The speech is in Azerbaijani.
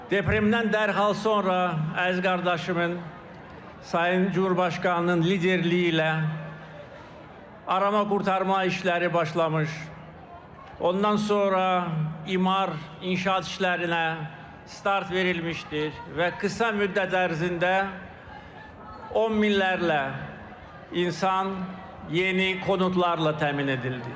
Depremdən dərhal sonra əziz qardaşımın, Sayın Cümhurbaşqanının liderliyi ilə arama xilas etmə işləri başlamış, ondan sonra imar inşaat işlərinə start verilmişdir və qısa müddət ərzində on minlərlə insan yeni konutlarla təmin edildi.